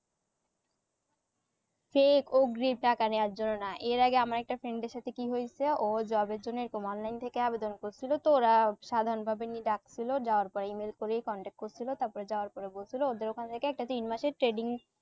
fake অগ্রি টাকা নিয়ে যাওয়া জন্য না এর আগে আমার একটা friend এর সাথে কি হইসে ও job এর জন্যে এরকম online থেকে আবেদন করসিলো তো ওরা সাধারণ ভাবে নি ডাকসিল যাওয়ার পরে email করেই contact করসিলো তাপরে যাওয়ার পর বলসিলো ওদের ওখানে থেকে একটা তিন মাসের trading